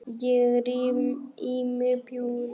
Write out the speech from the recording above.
Ég ríf í mig bjúgun.